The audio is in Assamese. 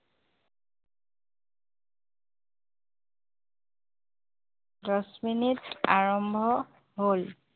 দচমিনিট আৰম্ভ হল